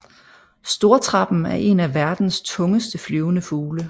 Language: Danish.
Stortrappen er en af verdens tungeste flyvende fugle